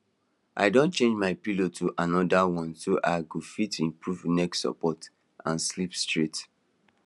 i don change my pillow to another one so i go fit improve neck support and sleep straight